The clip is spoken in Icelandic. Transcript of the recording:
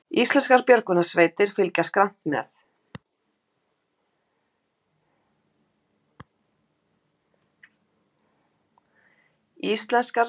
Íslenskar björgunarsveitir fylgjast grannt með